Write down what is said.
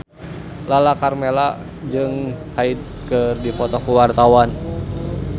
Lala Karmela jeung Hyde keur dipoto ku wartawan